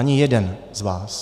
Ani jeden z vás.